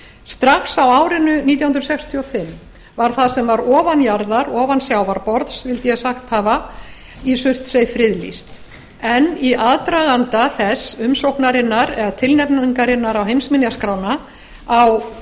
strax á árinu nítján hundruð sextíu og fimm var það sem var ofan sjávarborðs í surtsey friðlýst en í aðdraganda þess umsóknarinnar eða tilnefningarinnar á heimsminjaskrána á